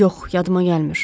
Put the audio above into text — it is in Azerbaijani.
Yox, yadıma gəlmir.